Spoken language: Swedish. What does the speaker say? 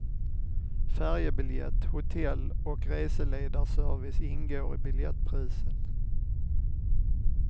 Färjebiljett, hotell och reseledarservice ingår i biljettpriset.